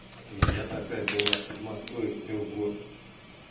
у меня такая была в подмосковье в трехгорке